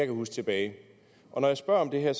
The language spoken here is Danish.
huske tilbage og når jeg spørger om det her